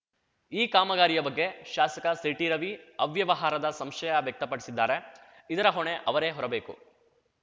ಈ ಕಾಮಗಾರಿಯ ಬಗ್ಗೆ ಶಾಸಕ ಸಿಟಿರವಿ ಅವ್ಯವಹಾರದ ಸಂಶಯ ವ್ಯಕ್ತಪಡಿಸಿದ್ದಾರೆ ಇದರ ಹೊಣೆ ಅವರೇ ಹೊರಬೇಕು